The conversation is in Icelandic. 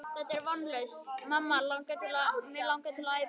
Þetta er vonlaust mamma langar mig til að æpa.